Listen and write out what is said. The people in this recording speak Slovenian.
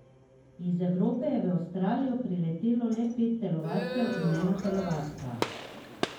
Iz Evrope je v Avstralijo pripotovalo le pet telovadcev in ena telovadka.